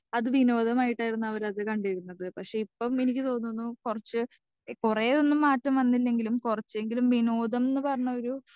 speaker 2 അത് വിനോദമായിട്ടായിരുന്നു അവരത് കണ്ടിരുന്നത് പക്ഷെ ഇപ്പൊ എനിക്ക് തോന്നുന്നു കൊറച്ച് കൊറെയൊന്നും മാറ്റം വന്നില്ലെങ്കിലും കൊറച്ചെങ്കിലും വിനോദം ന്ന് പറഞ്ഞൊരു